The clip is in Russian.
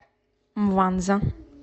мванза